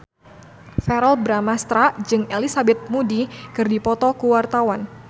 Verrell Bramastra jeung Elizabeth Moody keur dipoto ku wartawan